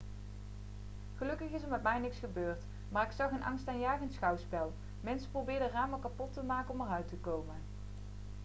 gelukkig is er met mij niks gebeurd maar ik zag een angstaanjagend schouwspel mensen probeerden ramen kapot te maken om eruit te komen